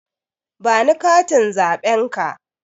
Ba ni katin zaɓen ka!